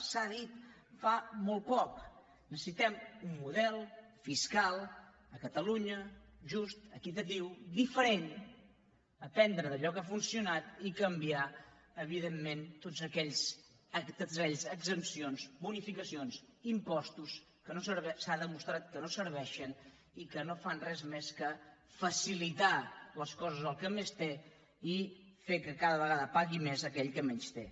s’ha dit fa molt poc necessitem un model fiscal a catalunya just equitatiu diferent aprendre d’allò que ha funcionat i canviar evidentment totes aquelles exempcions bonificacions i impostos que s’ha demostrat que no serveixen i que no fan res més que facilitar les coses a qui més té i fer que cada vegada pagui més aquell qui menys té